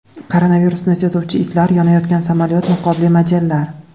Koronavirusni sezuvchi itlar, yonayotgan samolyot, niqobli modellar.